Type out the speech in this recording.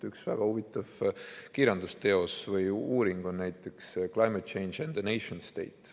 Üks väga huvitav kirjandusteos või uuring on näiteks "Climate Change and the Nation State".